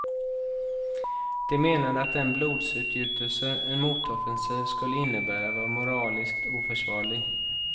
De menade att den blodsutgjutelse en motoffensiv skulle innebära var moraliskt oförsvarlig.